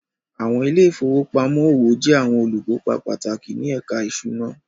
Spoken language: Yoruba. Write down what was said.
Àwọn ilé ìfowópamọ́ òwò jẹ́ àwọn olùkópa pàtàkì ní ẹ̀ka ìṣúná